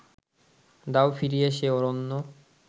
দাও ফিরিয়ে সে অরণ্য